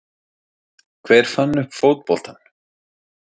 Hver fann upp fótboltann?